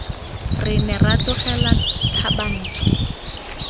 re ne ra tlogela thabantsho